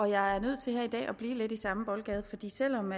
jeg er nødt til her i dag at blive lidt i samme boldgade fordi selv om